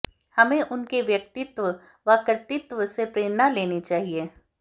हमें उनके व्यक्तित्व व कृतित्व से प्रेरणा लेनी चाहिए